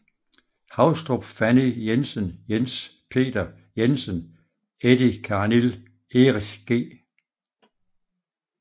Haustrup Fanny Jensen Jens Peter Jensen Eddie Karnil Erich G